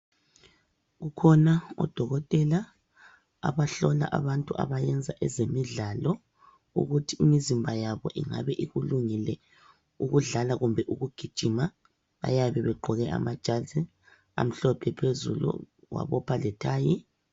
Kukhona odokotela abahlola abantu abayenza ezemidlalo, ukuthi imizimba yabo ingabe ikulungele ukudlala kumbe ukugijima. Bayabe begqoke amajazi amhlophe phezulu wabopha lethayi.